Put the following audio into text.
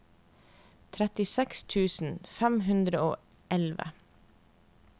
trettiseks tusen fem hundre og elleve